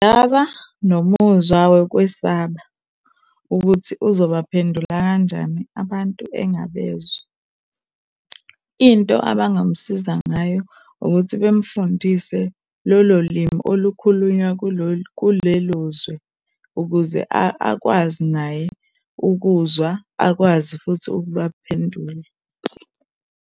Ngaba nomuzwa wokwesaba ukuthi uzobaphendula kanjani abantu engabezwa. Into abangamsiza ngayo ukuthi bemfundise lolo limi olukhulunywa kulolu, kulelo zwe ukuze akwazi naye ukuzwa, akwazi futhi ukubaphendula.